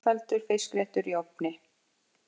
Einfaldur fiskréttur í ofni